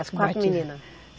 As quatro meninas?